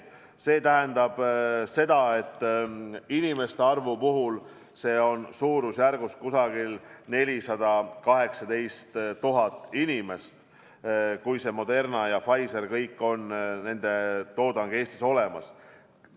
See tähendab seda, et vaktsineeritud saab suurusjärguna 418 000 inimest, kui Moderna ja Pfizeri toodang on Eestis olemas.